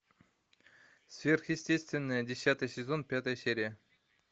сверхъестественное десятый сезон пятая серия